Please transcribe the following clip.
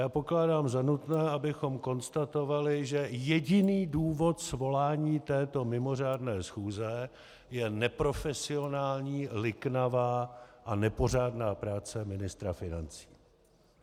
Já pokládám za nutné, abychom konstatovali, že jediný důvod svolání této mimořádné schůze je neprofesionální, liknavá a nepořádná práce ministra financí.